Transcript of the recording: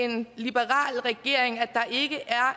en liberal regering er